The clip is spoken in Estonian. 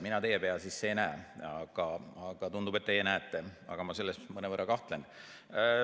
Mina teie pea sisse ei näe, aga tundub, et teie näete, ehkki ma selles mõnevõrra kahtlen.